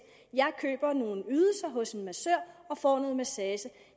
jeg køber nogle ydelser hos en massør og får noget massage